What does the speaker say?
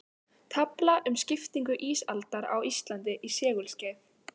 Tafla um skiptingu ísaldar á Íslandi í segulskeið.